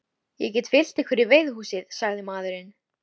Ég get fylgt ykkur í veiðihúsið, sagði maðurinn.